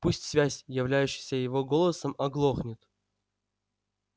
пусть связь являющаяся его голосом оглохнет